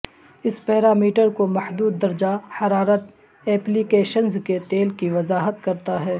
اس parameter کو محدود درجہ حرارت ایپلی کیشنز کے تیل کی وضاحت کرتا ہے